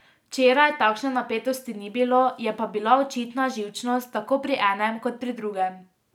Včeraj takšne napetosti ni bilo, je pa bila očitna živčnost tako pri enem kot pri drugem.